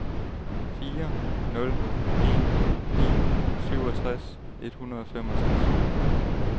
fire nul en ni syvogtres et hundrede og femogtres